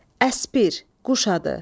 Əspir, quş adı.